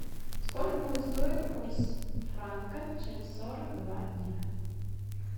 сколько будет стоить курс франка через сорок два дня